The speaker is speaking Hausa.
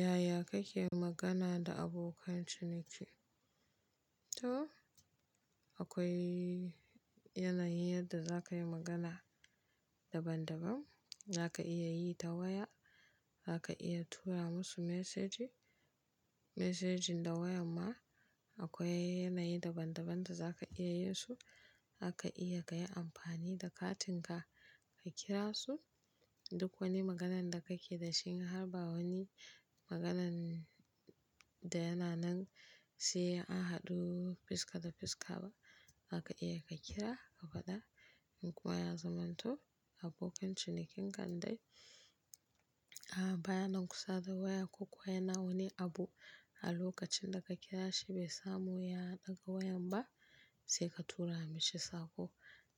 Yaya kake magana da abokan ciniki? To akwai yanayin yadda za ka yi magana daban daban. Za ka iya yi ta waya, za ka iya tura masu mesaji, mesajin da wayan ma akwai yanayi daban daban da za ka iya yin su. Zaka iya ka yi amfani da katinka ka kira su. Duk wani maganan da kake da shi in har ba wani maganan da yana nan sai an haɗu fuska da fuska ba zaka iya ka kira, ka gwada. Kuma ya zamanto abokin cinikin kan dai a baya nan kusa da waya ko kuwa yana wani abu a lokacin da ka kira shi bai samu ya ɗaga wayan ba sai ka tura mashi sako.